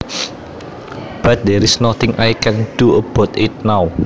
But there is nothing I can do about it now